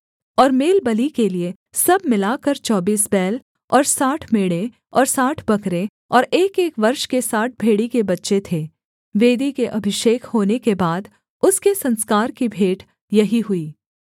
और मेलबलि के लिये सब मिलाकर चौबीस बैल और साठ मेढ़े और साठ बकरे और एकएक वर्ष के साठ भेड़ी के बच्चे थे वेदी के अभिषेक होने के बाद उसके संस्कार की भेंट यही हुई